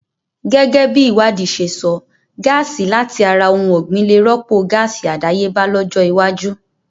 Gẹ́gẹ́bi ìwádìí ṣe sọ, gáàsì làti ara ohun ọ̀gbìn lè rọ́pò gáàsì àdáyébá lọ́jọ́ iwájú